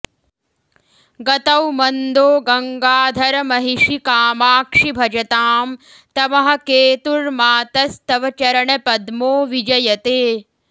गतौ मन्दो गङ्गाधरमहिषि कामाक्षि भजतां तमःकेतुर्मातस्तव चरणपद्मो विजयते